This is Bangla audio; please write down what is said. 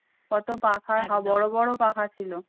কত পাখা বড় বড় পাখা ছিল।